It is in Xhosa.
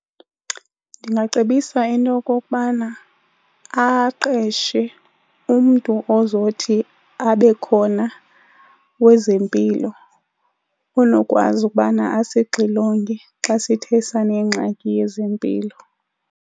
Ndingacebisa into yokokubana aqeshe umntu ozothi abe khona wezempilo onokwazi ukubana asixilonge xa sithe sanengxaki yezempilo.